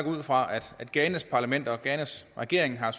ud fra at ghanas parlament og ghanas regering har